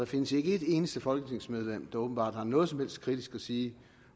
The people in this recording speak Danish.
findes ikke et eneste folketingsmedlem der åbenbart har noget som helst kritisk at sige